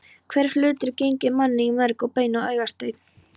Hver hlutur genginn manni í merg og bein og augastein.